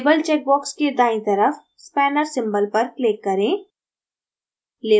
label check box के दायीं तरफ spanner symbol पर click करें